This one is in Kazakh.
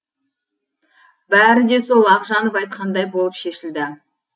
бәрі де сол ақжанов айтқандай болып шешілді